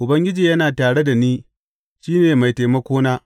Ubangiji yana tare da ni; shi ne mai taimakona.